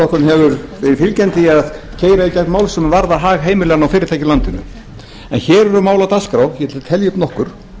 því að keyra í gegn mál sem varða hag heimilanna og fyrirtækja í landinu hér eru mál á dagskrá ég ætla að telja upp nokkur